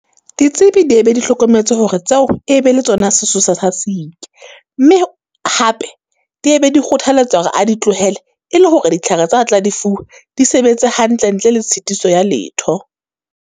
Ditsebi di e be di hlokometse hore tseo, e e be le tsona sesosa sa siki. Mme hape di e be di kgothaletsa hore a di tlohele, e le hore ditlhare tsa a tla di fuwa, di sebetse hantle ntle le tshitiso ya letho.